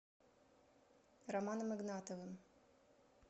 романом игнатовым